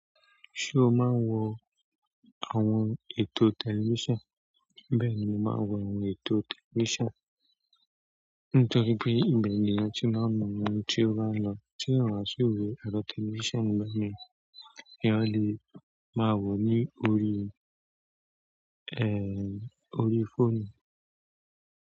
Ṣé o máa ń wo àwọn ètò tẹlifíṣàn? Bẹ́ẹ̀ni, mo máa ń wo àwọn ètò tẹlifíṣàn, nítorí pé ìbe ni eèyàn ti máa ń mọ ohun tí ó bá ń lọ, tí eyan ó si wò ero tẹlifíṣàn, èèyàn lè máa wò ó ní orí, ehn, orí fóònù.